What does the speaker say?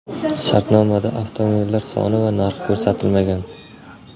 Shartnomada avtomobillar soni va narxi ko‘rsatilmagan.